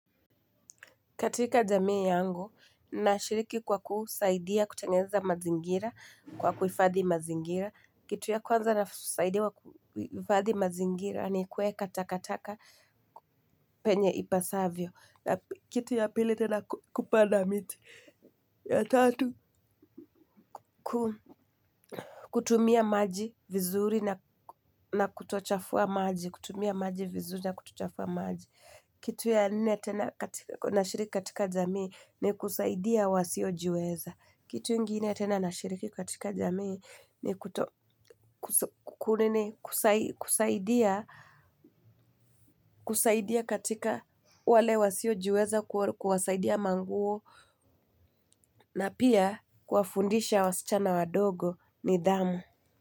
Katika jamii yangu, nashiriki kwa kusaidia kutengeza mazingira kwa kuifadhi mazingira. Kitu ya kwanza nasaidia kuifadhi mazingira ni kueka takataka penye ipasavyo. Kitu ya pili tena kupanda miti. Ya tatu, kutumia maji vizuri na kutochafua maji. Kutumia maji vizuri na kutochafua maji kitu ya nne nashiriki katika jamii ni kusaidia wasiojiweza. Kitu ingine tena nashiriki katika jamii ni kusaidia kusaidia katika wale wasiojiweza kuwasaidia manguo na pia kuwafundisha wasichana wadogo nidhamu.